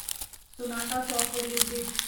Sonata software limited